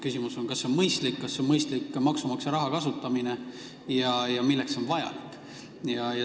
Küsimus on, kas see on mõistlik maksumaksja raha kasutamine ja milleks see on vajalik.